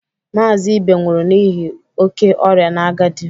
Mazị Ibe nwụrụ n'ihi oke ọrịa na agadi.